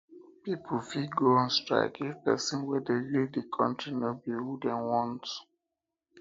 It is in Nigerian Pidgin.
pipo fit go on strike if persin um wey de lead di country no be who um dem want